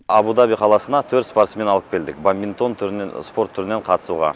абу даби қаласына төрт спортсмен алып келдік бадминтон түрінен спорт түрінен қатысуға